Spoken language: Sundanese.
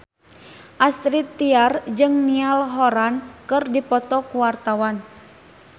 Astrid Tiar jeung Niall Horran keur dipoto ku wartawan